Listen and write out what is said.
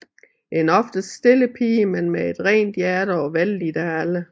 En oftest stille pige men med et rent hjerte og vellidt af alle